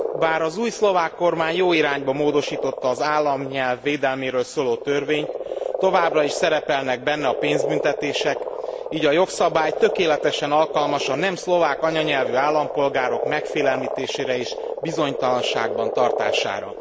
Bár az új szlovák kormány jó irányba módosította az államnyelv védelméről szóló törvényt, továbbra is szerepelnek benne a pénzbüntetések, így a jogszabály tökéletesen alkalmas a nem szlovák anyanyelvű állampolgárok megfélemlítésére és bizonytalanságban tartására.